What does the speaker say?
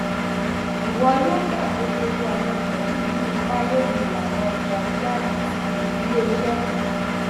ìwọ yóò gbà pé gbogbo àwọn wọnyí ní ipa lórí ìlànà ọjọ iwájú tí iléiṣẹ náà